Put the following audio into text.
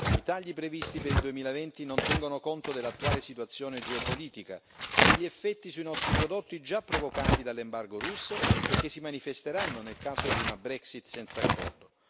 I tagli previsti per il 2020 non tengono conto dell'attuale situazione geopolitica e degli effetti sui nostri prodotti già provocati dall'embargo russo e che si manifesteranno nel caso di una Brexit senza accordo.